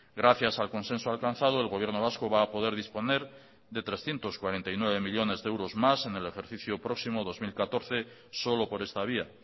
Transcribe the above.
gracias al consenso alcanzado el gobierno vasco va a poder disponer de trescientos cuarenta y nueve millónes de euros más en el ejercicio próximo dos mil catorce solo por esta vía